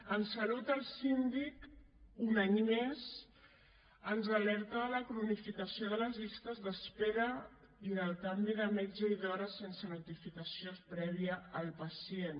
en salut el síndic un any més ens alerta de la cronificació de les llistes d’espera i del canvi de metge i d’hora sense notificació prèvia al pacient